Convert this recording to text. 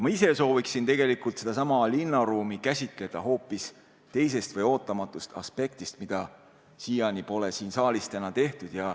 Ma ise sooviksin tegelikult sedasama linnaruumi käsitleda hoopis teisest või ootamatust aspektist, mida siiani pole siin saalis täna tehtud.